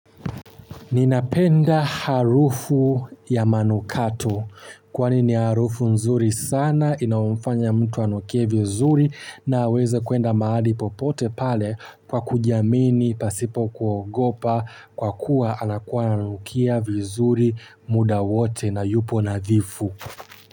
Ninapenda harufu ya manukato kwani ni harufu nzuri sana inayomfanya mtu anukie vizuri na aweze kwenda mahali popote pale kwa kujiamini pasipo kuogopa kwa kuwa anakuwa ananukia vizuri muda wote na yupo nadhifu.